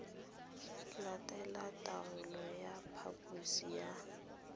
latela taelo ya phaposo ya